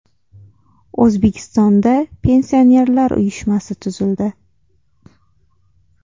O‘zbekistonda Pensionerlar uyushmasi tuzildi.